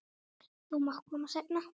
Þú mátt koma seinna.